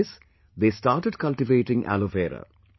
After this they started cultivating aloe vera